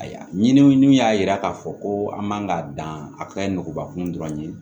Ayiwa ɲini min y'a yira k'a fɔ ko an man ka dan a ka ɲi nɔgɔ kun dɔrɔn dɔrɔn ye